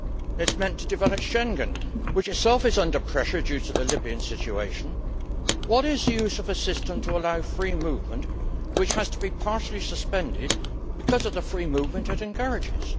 It is meant to develop Schengen, which itself is under pressure due to the Libyan situation. What is the use of a system to allow free movement which has to be partially suspended because of the free movement it encourages?